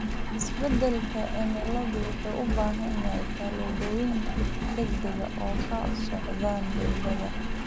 Isbedelka cimiladu wuxuu u baahan yahay tallaabooyin degdeg ah oo ka socda dowladaha.